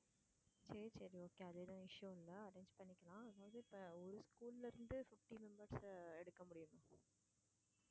சரி சரி okay அது எதுவும் issue இல்ல arrange பண்ணிக்கலாம். அதாவது இப்போ ஒரு school ல இருந்து fifty members அ எடுக்க முடியுமா?